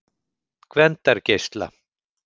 Gvendargeisla